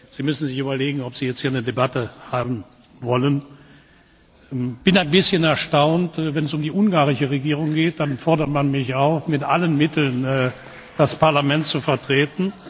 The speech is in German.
Sie müssen sich überlegen, ob Sie jetzt hier eine Debatte haben wollen. Ich bin ein bisschen erstaunt, denn wenn es um die ungarische Regierung geht, dann fordert man mich auf, mit allen Mitteln das Parlament zu vertreten.